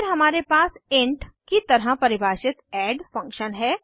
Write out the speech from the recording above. फिर हमारे पास इंट की तरह परिभाषित एड फंक्शन है